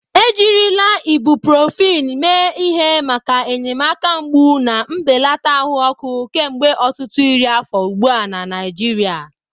Ejirila ibuprofen mee ihe maka enyemaka mgbu na mbelata ahụ ọkụ kemgbe ọtụtụ iri afọ ugbu a na Naijiria.